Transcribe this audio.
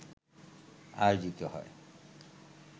আয়োজিত হয়